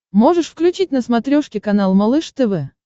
можешь включить на смотрешке канал малыш тв